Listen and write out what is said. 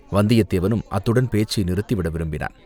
வந்தியத்தேவனும் அத்துடன் பேச்சை நிறுத்தி விட விரும்பினான்.